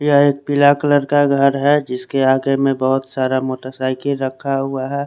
यह एक पीला कलर का घर है जिसके आगे में बहोत सारा मोटरसाइकिल रखा हुआ है।